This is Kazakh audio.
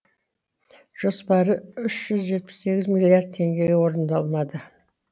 жоспары үш жүз жетпіс сегіз миллиард теңге орындалмады